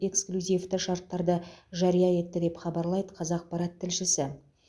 эксклюзивті шарттарды жария етті деп хабарлайды қазақпарат тілшісі